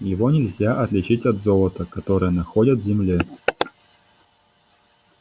его нельзя отличить от золота которое находят в земле